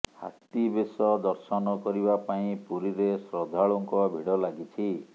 ହାତୀ ବେଶ ଦର୍ଶନ କରିବା ପାଇଁ ପୁରୀରେ ଶ୍ରଦ୍ଧାଳୁଙ୍କ ଭିଡ଼ ଲାଗିଛି